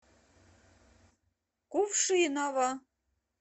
кувшиново